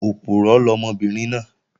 Òpùrọ́ lọmọbìnrin náà